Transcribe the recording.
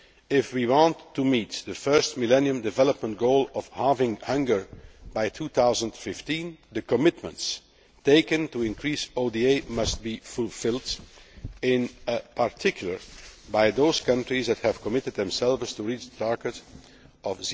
If we want to meet the first Millennium Development Goal of halving hunger by 2015, the commitments taken to increase ODA must be fulfilled in particular by those countries which have committed themselves to reaching the target of